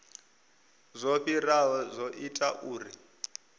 zwo fhiraho zwo ita uri